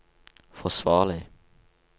forsvarlig